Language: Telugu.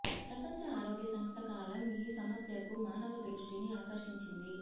ప్రపంచ ఆరోగ్య సంస్థ కాలం ఈ సమస్యకు మానవ దృష్టిని ఆకర్షించింది